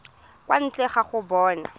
kwa ntle ga go bona